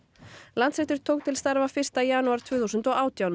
Landsréttur tók til starfa fyrsta janúar tvö þúsund og átján